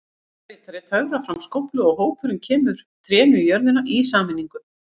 Forsetaritari töfrar fram skóflu og hópurinn kemur trénu í jörðina í sameiningu.